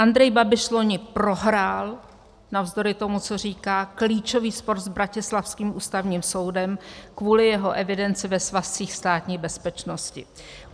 Andrej Babiš loni prohrál navzdory tomu, co říká, klíčový spor s bratislavským Ústavním soudem kvůli jeho evidenci ve svazcích Státní bezpečnosti.